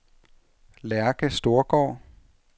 Lærke Storgaard